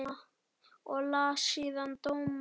Og las síðan dóma.